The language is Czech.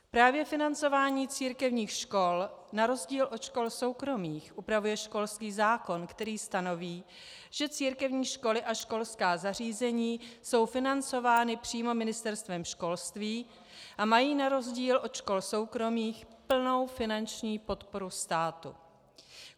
Právě financování církevních škol na rozdíl od škol soukromých upravuje školský zákon, který stanoví, že církevní školy a školská zařízení jsou financovány přímo Ministerstvem školství a mají na rozdíl od škol soukromých plnou finanční podporu státu.